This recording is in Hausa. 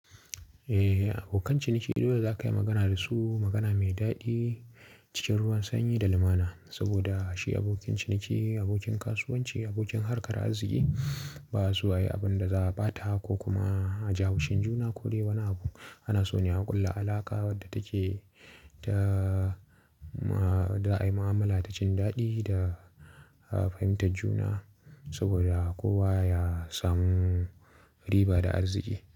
Eh, abokan ciniki dole za ka yi magana da su magana mai daɗi cikin ruwan sanyi da lumana. Saboda shi abokin ciniki, abokin kasuwanci, abokin harkar arziki ba su wa yi abin da za a ɓata ko kuma a ji haushin juna ko dai wani abu. Ana so ne a ƙulla alaƙa wadda take da a yi mu'amala ta cin daɗi da fahimtar juna saboda kowa ya samu riba da arziki.